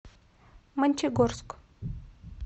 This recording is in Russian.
мончегорск